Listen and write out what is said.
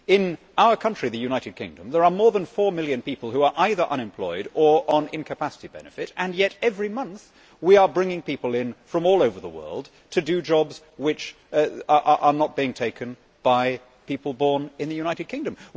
In our country, the United Kingdom, there are more than 4 million people who are either unemployed or on incapacity benefit and yet every month we are bringing people in from all over the world to do jobs that are not being taken by people born in the United Kingdom.